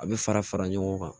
A bɛ fara fara ɲɔgɔn kan